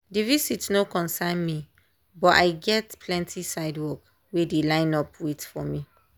the visit no concern me but i get plenty side work wey dey line up wait for me.